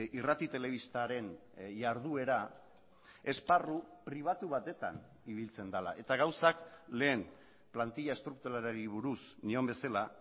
irrati telebistaren jarduera esparru pribatu batetan ibiltzen dela eta gauzak lehen plantilla estrukturalari buruz nion bezala